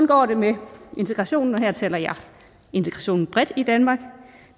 går det med integrationen og her taler jeg integrationen bredt i danmark